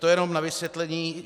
To jenom na vysvětlení.